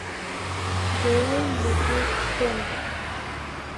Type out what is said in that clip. джой ютуб стэнки